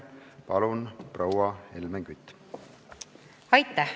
Palun, proua Helmen Kütt!